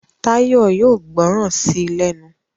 Tayo yóò gbóròn sí lénu.